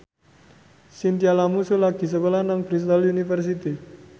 Chintya Lamusu lagi sekolah nang Bristol university